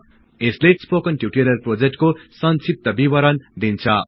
यसले spoken tutorial प्रोजेक्टको संक्षिप्त विवरण दिन्छ